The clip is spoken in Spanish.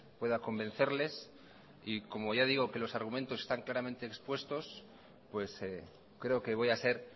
pueda convencerles y como ya digo que los argumentos están claramente expuestos creo que voy a ser